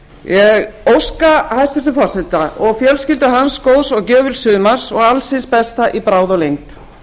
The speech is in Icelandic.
ég óska hæstvirtum forseta og fjölskyldu hans góðs og gjöfuls sumars og alls hins besta í bráð og lengd